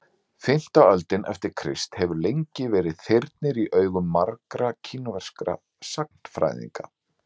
Fimmta öldin eftir Krist hefur lengi verið þyrnir í augum margra kínverskra sagnfræðinga.